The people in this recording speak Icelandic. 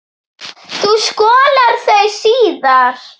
Þú skolar þau síðar.